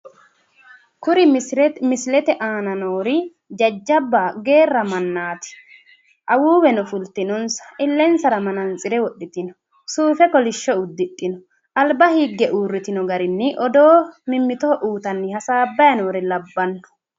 Kuri misilete aana noori geerra mannaati. Awuuweno fultinonsa illensara manantsire widhitino suufe kolishsho uddidhino. Alba higge uurritino garinni odoo mimmitoho uyitanni hasaabbanni noore labbanno.